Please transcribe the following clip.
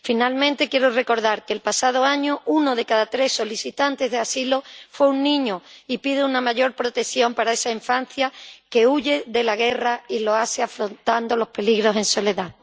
Finalmente, quiero recordar que el pasado año uno de cada tres solicitantes de asilo fue un niño, y pido una mayor protección para esa infancia que huye de la guerra y lo hace afrontando los peligros en soledad.